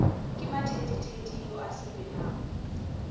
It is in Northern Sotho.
ke mathedithedi yo a sepelago